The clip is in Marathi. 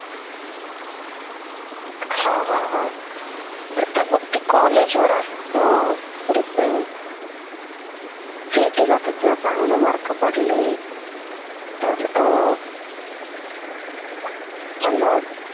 हा हा हा त आता मग ते college वर असत depend CET ला त तुला चांगले mark पडले तर अं hello?